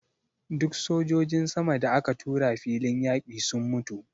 Duk sojojin sama da aka tura filin yaƙi sun mutu.